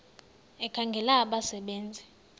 ekhangela abasebe nzi